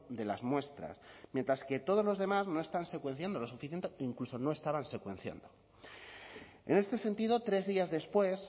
de las muestras mientras que todos los demás no están secuenciando lo suficiente incluso no estaban secuenciando en este sentido tres días después